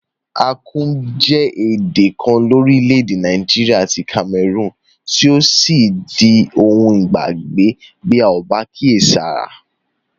Akum je èdè kan lórílẹ̀dè Naijiria àti Cameroon tí yio sí di oun ìgbàgbé bi a ko ba kíèsára